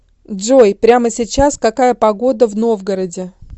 джой прямо сейчас какая погода в новгороде